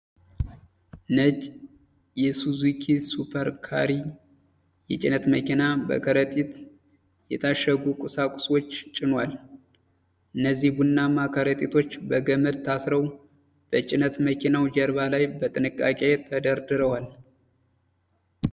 ነጭ የሱዙኪ ሱፐር ካሪ የጭነት መኪና በከረጢት የታሸጉ ቁሳቁሶች ጭኗል። እነዚህ ቡናማ ከረጢቶች በገመድ ታስረው በጭነት መኪናው ጀርባ ላይ በጥንቃቄ ተደርድረዋል።